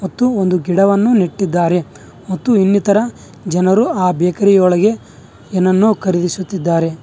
ಮತ್ತು ಒಂದು ಗಿಡವನ್ನು ನೆಟ್ಟಿದ್ದಾರೆ ಮತ್ತು ಇನ್ನಿತರ ಜನರು ಆ ಬೇಕರಿ ಒಳಗೆ ಏನ್ನನೋ ಖರೀದಿಸುತ್ತಿದ್ದಾರೆ.